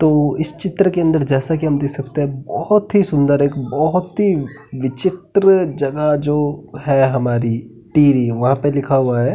तो इस चित्र के अंदर जैसे की हम देख सकते हैं बहोत ही सुंदर एक बहोत ही विचित्र जगह जो है हमारी टिहरी वहाँ पे लिखा हुआ है।